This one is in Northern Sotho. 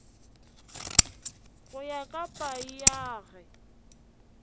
go ya ka paia ge